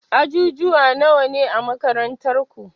Ajujuwa nawane a makarantar taku?